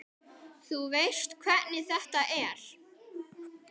Þú veist hvernig þetta er.